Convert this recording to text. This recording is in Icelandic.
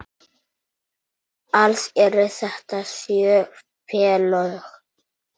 Alls eru þetta sjö félög.